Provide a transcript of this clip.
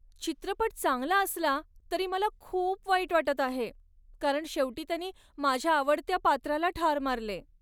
चित्रपट चांगला असला तरी मला खूप वाईट वाटत आहे कारण शेवटी त्यांनी माझ्या आवडत्या पात्राला ठार मारले.